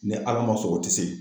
Ni ala ma sɔn o tɛ se